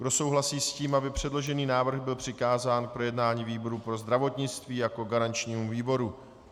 Kdo souhlasí s tím, aby předložený návrh byl přikázán k projednání výboru pro zdravotnictví jako garančnímu výboru?